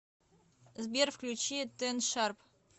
сбер включи тэн шарп